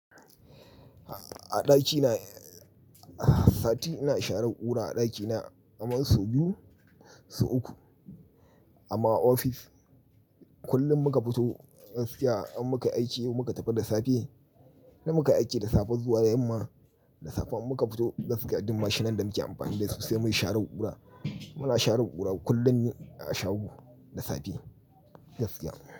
A ɗakina a sati ina share ƙura a ɗakina kaman so biyu so uku. Amma ofis kullum muka fito gaskiya in muka yi aiki muka tafi da safe, in dai muka aiki da safe zuwa yamma, da safe in muka fito gaskiya duk mashinan da muke amfani da su sai mun share ƙura. Muna share ƙura kullum ne a shago da safe gaskiya.